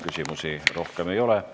Küsimusi rohkem ei ole.